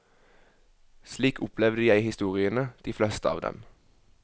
Slik opplevde jeg historiene, de fleste av dem.